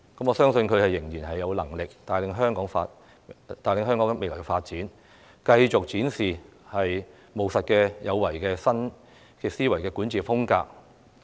我相信她仍然有能力帶領香港未來發展，繼續展示"務實有為"的新思維管治風格。